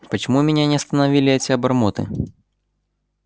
почему меня не остановили эти обормоты